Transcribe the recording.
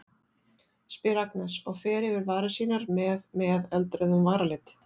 spyr Agnes og fer yfir varir sínar með með eldrauðum varalit.